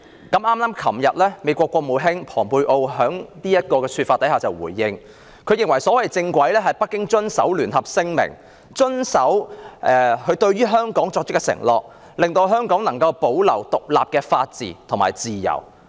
昨天美國國務卿蓬佩奧就他的說法作出回應，認為所謂"正軌"是北京遵守《中英聯合聲明》，以及遵守對香港作出的承諾，令香港得以保持獨立的法治及自由。